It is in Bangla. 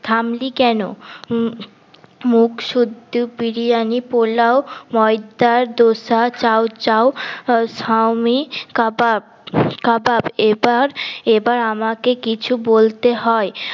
থামলি কেন মু মুখ শুদ্ধ বিরিয়ানি পোলাও ময়দা ডোসা চাও চাও শাওমি কাবাব কাবাব এবার এবার আমাকে কিছু বলতে হয়